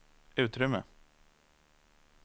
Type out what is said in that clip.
utrymme